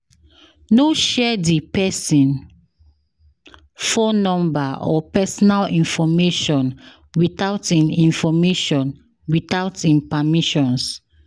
No share di persin phone number or personal information withou em information without in permissions